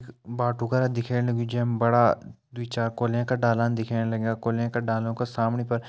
बाटु करा दिखेण लग्युं जै मा बड़ा दुई चार कोलियाँ का डाला दिखेण लग्यां कोलियाँ के डालों के सामणि पर --